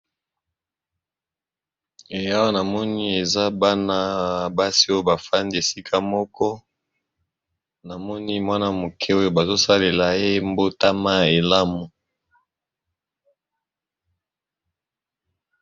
Awa namoni eza bana basi oyo bafandi esika moko, namoni mwana moke oyo bazosalela ye mbotama elamu.